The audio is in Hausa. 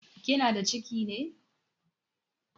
Kina da ciki ne?